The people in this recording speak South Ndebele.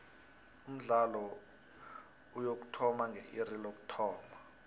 umdlalo uyokuthoma nge iri lokuthoma